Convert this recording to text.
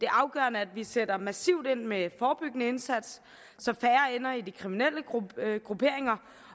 afgørende at vi sætter massivt ind med en forebyggende indsats så færre ender i de kriminelle grupperinger